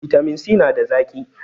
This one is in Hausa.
bitamin si nada zaki